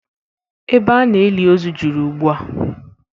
Ebe a na-eli ozu juru ugbu a